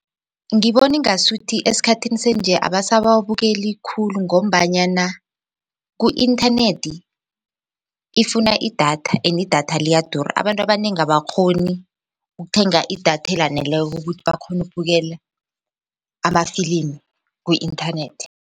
Ngibona ingasuthi esikhathini sanje abasawabukeli khulu ngombanyana ku-inthanethi ifuna idatha and i-datha liyadura abantu abanengi abakghoni ukuthenga idatha elaneleko ukuthi bakghone ubukele amafilimi ku-inthanethi.